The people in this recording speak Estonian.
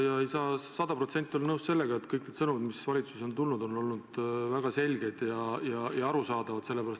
Ma ei saa sada protsenti nõus olla, et kõik need sõnumid, mis valitsusest on tulnud, on olnud väga selged ja arusaadavad.